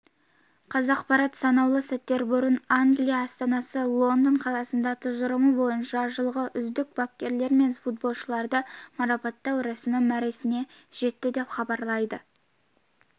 қазақпарат санаулы сәттер бұрын англия астанасы лондон қаласында тұжырымы бойынша жылғы үздік бапкерлер мен футболшыларды марапаттау рәсімі мәресіне жетті деп хабарлайды